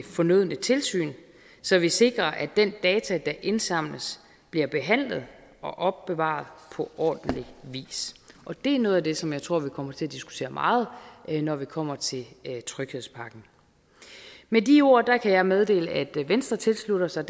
fornødne tilsyn så vi sikrer at den data der indsamles bliver behandlet og opbevaret på ordentlig vis det er noget af det som jeg tror vi kommer til at diskutere meget når vi kommer til tryghedspakken med de ord kan jeg meddele at venstre tilslutter sig